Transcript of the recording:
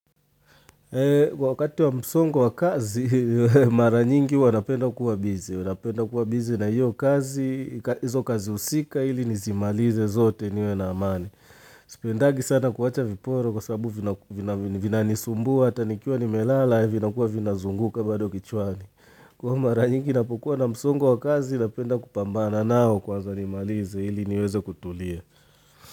Kwa wakati wa msongo wa kazi, mara nyingi wanapenda kuwa bizi. Wanapenda kuwa busy na hiyo kazi, hizo kazi husika ili nizimalize zote niwe na amani. Sipendagi sana kuacha viporo kwa sababu vinanisumbua, hata nikiwa nimelala, vinakuwa vinazunguka bado kichwani. Kwa mara nyingi ninapokuwa na msongo wa kazi, napenda kupambana nao kwaza nimalize ili niweze kutulia.